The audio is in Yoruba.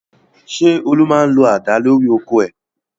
Ṣé Olú máa ń lo àdá lórí oko rẹ̀?